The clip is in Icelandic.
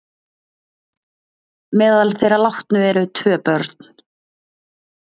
Meðal þeirra látnu eru tvö börn